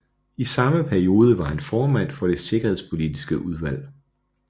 I samme periode var han formand for Det Sikkerhedspolitiske Udvalg